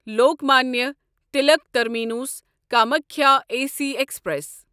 Lokmanya Tilak terminus Kamakhya A C express